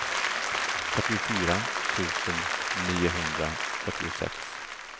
fyrtiofyra tusen niohundrafyrtiosex